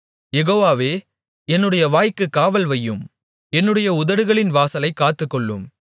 யெகோவாவே என்னுடைய வாய்க்குக் காவல்வையும் என்னுடைய உதடுகளின் வாசலைக் காத்துக்கொள்ளும்